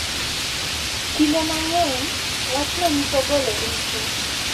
Kinde mang’eny, wachno nyiso golo richo, .